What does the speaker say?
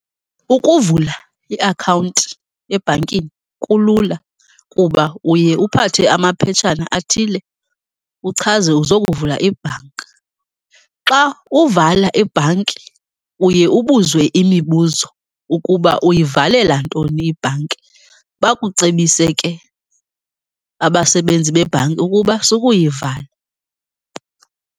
Ukuvula iakhawunti ebhankini kulula kuba uye uphathe amaphetshana athile, uchaze uzokuvula ibhanki. Xa uvala ibhanki uye ubuzwe imibuzo ukuba uyivalela ntoni ibhanki, bakucebise ke abasebenzi bebhanki ukuba sukuyivala.